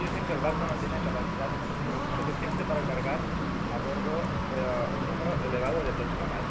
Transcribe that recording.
También dicen que el barco no tiene capacidad suficiente para cargar a bordo un número elevado de personas.